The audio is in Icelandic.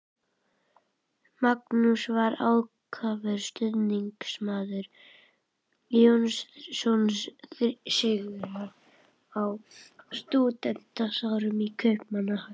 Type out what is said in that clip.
Magnús var ákafur stuðningsmaður Jóns Sigurðssonar á stúdentsárum í Kaupmannahöfn.